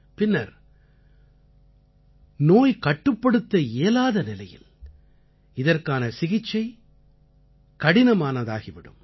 பின்னர் நோய் கட்டுப்படுத்த இயலாத நிலையில் இதற்கான சிகிச்சை கடினமானதாகி விடும்